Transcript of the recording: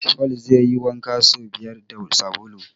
Paul zai yi wanka so biyar da sabulu.